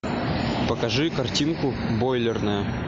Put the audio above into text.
покажи картинку бойлерная